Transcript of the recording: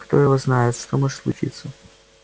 кто его знает что может случиться